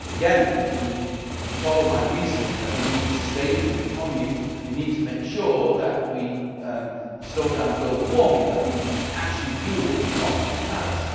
Again, if you follow my reasoning that we need a sustainable economy, we need to make sure that we slow down global warming and that we actually do what we promised in Paris.